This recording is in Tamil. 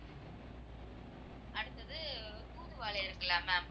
அடுத்தது தூதுவளை இருக்குல்ல ma'am